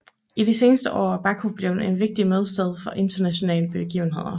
I de seneste år er Baku blevet en vigtig mødested for internationale begivenheder